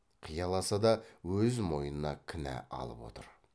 қияласа да өз мойнына кінә алып отыр